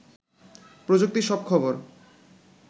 প্রযুক্তির সব খবর